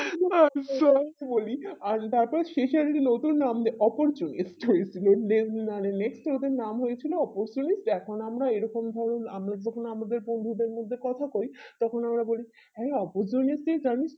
so বলি আজ ধাত শেষে আমি যদি লোকের নাম অপরিচয় সে ওটার নাম হয়ে ছিল অপসই এখন আমরা এই রকম ভাবে আমরা যেকোন আমাদের বন্ধুদের মধে কথা কিই তখন আমাদের হ্যাঁ আগের জন্মে তুই জানিস তো